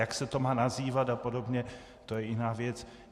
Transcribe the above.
Jak se to má nazývat a podobně, to je jiná věc.